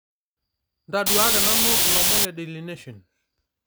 ntaduaki nanu ilomon le daily nation